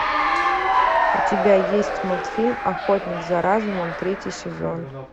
у тебя есть мультфильм охотник за разумом третий сезон